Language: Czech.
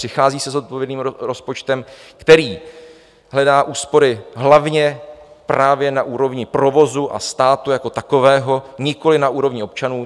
Přichází se zodpovědným rozpočtem, který hledá úspory hlavně právě na úrovni provozu a státu jako takového, nikoli na úrovni občanů.